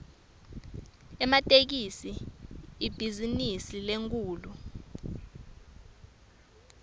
ematekisi ibhizinisi lenkhulu